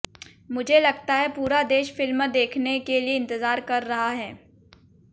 मुझे लगता है पूरा देश फिल्म देखने के लिए इंतजार कर रहा है